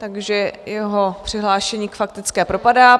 Takže jeho přihlášení k faktické propadá.